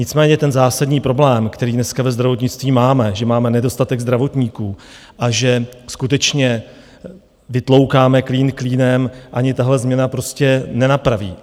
Nicméně ten zásadní problém, který dneska ve zdravotnictví máme, že máme nedostatek zdravotníků a že skutečně vytloukáme klín klínem, ani tahle změna prostě nenapraví.